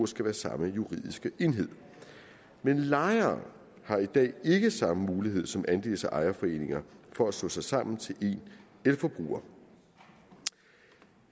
skal være samme juridiske enhed lejere har i dag ikke samme mulighed som andels og ejerforeninger for at slå sig sammen til én elforbruger